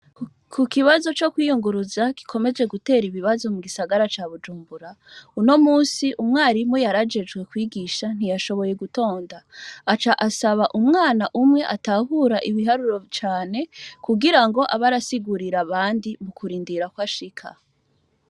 Kukibazo co kwiyunguruza gikomeje guter' ibibazo mu gisagara ca bujumbura, unomunsi, umwarimu yarajejwe kwigisha ntiyashoboye gutonda, acasab' umwan' umwe atahura ibiharuro cane kugirang' ab' asigurir' abandi mu kurindira ko kwashika.